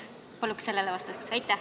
Palun sellele vastust!